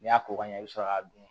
N'i y'a ko ka ɲɛ i bi sɔrɔ k'a dun